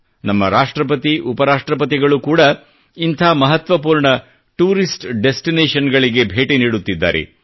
ನಮ್ಮ ರಾಷ್ಟ್ರಪತಿ ಉಪ ರಾಷ್ಟ್ರಪತಿಗಳು ಕೂಡಾ ಇಂಥ ಮಹತ್ವಪೂರ್ಣ ಟೂರಿಸ್ಟ್ ಡೆಸ್ಟಿನೇಷನ್ ಗಳಿಗೆ ಭೇಟಿ ನೀಡುತ್ತಿದ್ದಾರೆ